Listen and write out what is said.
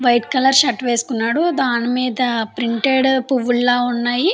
White colour shirt వేసుకున్నాడు దానిమీద printed పువ్వుల్లా ఉన్నాయి.